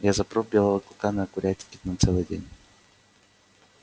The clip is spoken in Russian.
я запру белого клыка на курятнике на целый день